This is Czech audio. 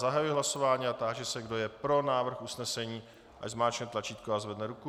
Zahajuji hlasování a táži se, kdo je pro návrh usnesení, ať zmáčkne tlačítko a zvedne ruku.